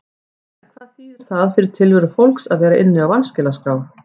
En hvað þýðir það fyrir tilveru fólks að vera inni á vanskilaskrá?